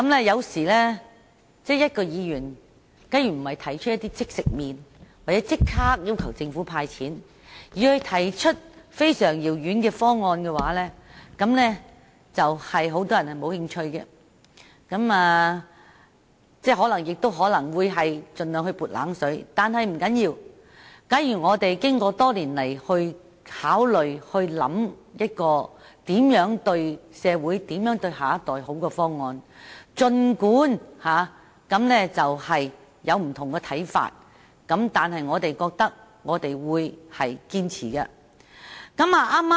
有時候，假如議員提出的不是"即食麪"，或不是要求政府立刻"派錢"的議案，而是一些非常遙遠的方案，很多人也不會感興趣，又或會盡量"潑冷水"；但不要緊，如果我們經過多年考慮而得出有利社會、有利下一代的方案，儘管有不同的看法，我們仍然會堅持。